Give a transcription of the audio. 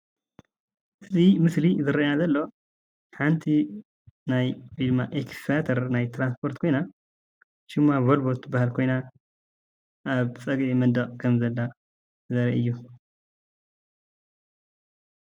እዚ ምስሊ ዝርአየና ዘሎ ሓንቲ ናይ ኤክስቫተር ናይ ትራኔስፖርት ኮይና ፤ሽማ ቮልቮ እትብሃል ኾይና ኣብ ፀግዒ መንደቅ ኸም ዘላ ዘርኢ እዩ።